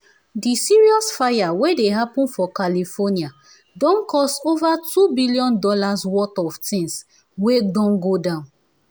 di serious fire wey dey happen for california don cause over $2 billion worth of things wey don go down